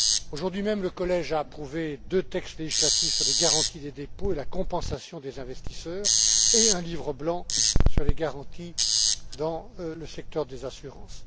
Aujourd'hui même, le collège a approuvé deux textes législatifs sur les garanties des dépôts et la compensation des investisseurs, et un livre blanc sur les garanties dans le secteur des assurances.